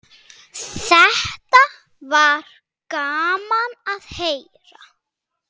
Þetta var gaman að heyra.